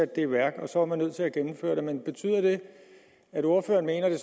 det i værk og så er man nødt til at gennemføre det men betyder det at ordføreren mener at det